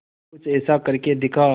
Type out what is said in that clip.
कुछ ऐसा करके दिखा